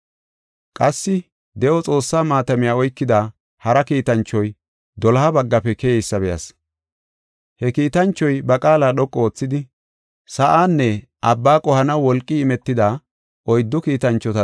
Qassi de7o Xoossaa maatamiya oykida hara kiitanchoy doloha baggafe keyeysa be7as. He kiitanchoy ba qaala dhoqu oothidi, sa7aanne abba qohanaw wolqi imetida oyddu kiitanchota,